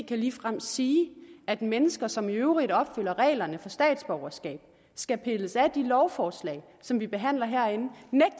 kan ligefrem sige at mennesker som i øvrigt opfylder reglerne for statsborgerskab skal pilles af de lovforslag som vi behandler herinde